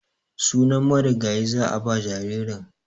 Sunan marigayi za a ba jaririn.